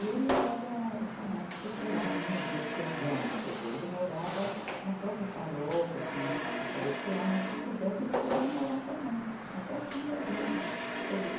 E ele era chamado secular, né, diocesano, quer dizer, ele morava na própria paróquia, tinha a casa paroquial, mas se quisesse ele podia morar com a mãe, até o fim da vida. todo